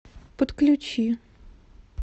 подключи